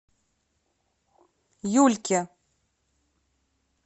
юльке